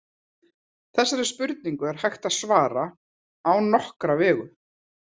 Þessari spurningu er hægt að svara á nokkra vegu.